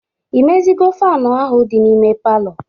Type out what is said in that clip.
Imezigo faanụ ahụ dị n'ime palọ?